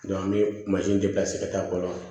an bɛ ka taa kɔnɔ